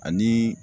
Ani